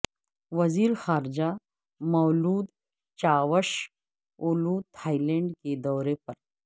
وزیر خارجہ Mevlut Cavusoglu Thailand کے دورے پر